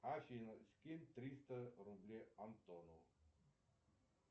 афина скинь триста рублей антону